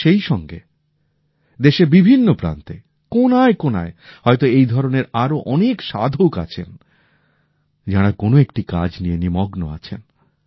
কিন্তু সেই সঙ্গে দেশের বিভিন্ন প্রান্তে কোণায় কোণায় হয়তো এই ধরনের আরো অনেক সাধক আছেন যাঁরা কোন একটি কাজ নিয়ে নিমগ্ন আছেন